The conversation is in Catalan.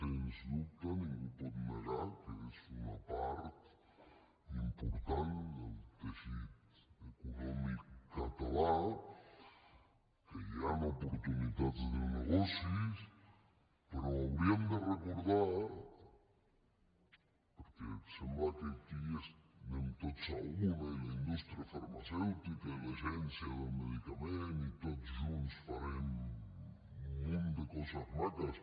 sens dubte ningú pot negar que és una part important del teixit econòmic català que hi han oportunitats de negocis però hauríem de recordar perquè sembla que aquí anem tots a una i la indústria farmacèutica i l’agència del medicament i tots junts farem un munt de coses maques